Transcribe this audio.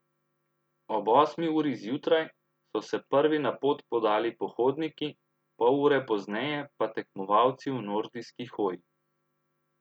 Ob osmi uri zjutraj so se prvi na pot podali pohodniki, pol ure pozneje pa tekmovalci v nordijski hoji.